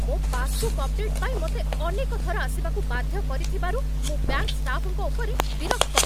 ମୋ passbook update ପାଇଁ ମୋତେ ଅନେକ ଥର ଆସିବାକୁ ବାଧ୍ୟ କରିଥିବାରୁ, ମୁଁ ବ୍ୟାଙ୍କ୍ ଷ୍ଟାଫ୍‌ଙ୍କୁ ଉପରେ ବିରକ୍ତ।